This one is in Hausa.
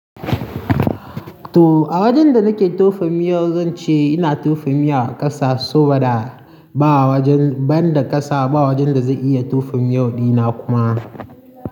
To a wajen da nake tofa miyau zan ce ina tofa miya a ƙasa saboda ba wajen, banda ƙasa ba wajen da zai iya tufin miyau dina kuma.